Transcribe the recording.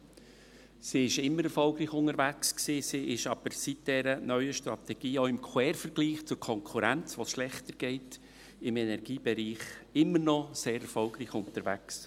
Sie war schon immer erfolgreich unterwegs, ist aber seit der neuen Strategie – auch im Quervergleich zur Konkurrenz, der es schlechter geht – im Energiebereich immer noch sehr erfolgreich unterwegs.